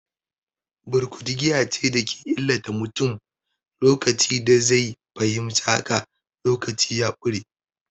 Burkutu giya ce da ke illata mutum, lokacin da zai fahimci haka, lokaci ya ƙure.